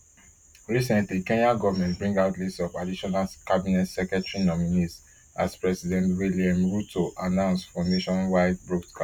recently kenya goment bring out list of additional cabinet secretary nominees aspresident william ruto announcefor nationwide broadcast